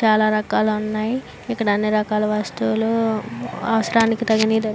చాలా రకాలు ఉన్నాయి. ఇక్కడ అన్ని రకాల వస్తువులు అవసరానికి తగినవి దొరుకు --